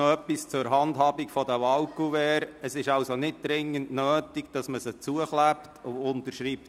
Noch etwas zur Handhabung der Wahlkuverts: Es ist nicht dringend nötig, diese zuzukleben und zu unterschreiben.